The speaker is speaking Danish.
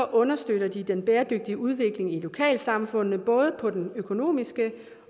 understøtter de den bæredygtige udvikling i lokalsamfundene både på den økonomiske